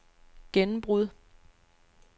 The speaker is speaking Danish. gennembrud